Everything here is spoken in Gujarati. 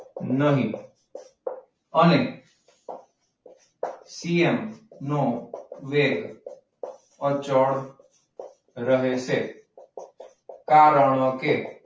નહીં. અને CM નો રેટ અચળ રહે છે કારણકે,